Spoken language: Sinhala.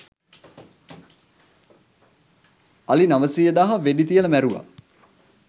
අලි නවසීය දාහ වෙඩි තියලා මැරුවා.